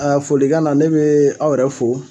folikan na ne be aw yɛrɛ fo